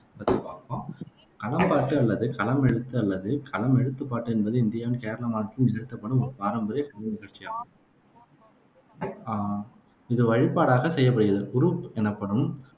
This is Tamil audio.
களம்பாட்டு அல்லது களமெழுத்து அல்லது களமெழுத்துப்பாட்டு என்பது இந்தியாவின் கேரள மாநிலத்தில் நிகழ்த்தப்படும் ஒரு பாரம்பரிய கலை நிகழ்ச்சியாகும் அஹ் இது ஒரு வழிபாடாகச் செய்யப்படுகிறது. குருப் எனப்படும்